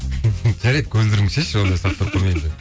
жарайды көзілдірігіңді шешші ондай сұрақтар қоймаймын